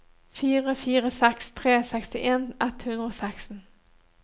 fire fire seks tre sekstien ett hundre og seksten